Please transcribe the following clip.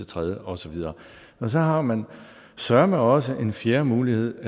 tredje og så videre så har man søreme også en fjerde mulighed